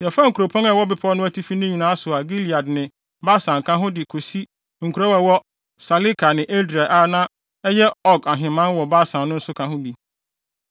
Yɛfaa nkuropɔn a ɛwɔ bepɔw no atifi no nyinaa so a Gilead ne Basan ka ho de kosi nkurow a ɛwɔ Saleka ne Edrei a na ɛyɛ Og ahemman wɔ Basan no nso ka ho bi.